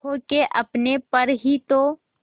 खो के अपने पर ही तो